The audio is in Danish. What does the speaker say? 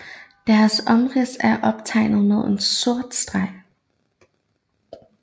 Deres omrids er optegnet med en sort streg